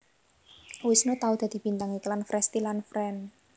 Wisnu tau dadi bintang iklan Frestea lan Fren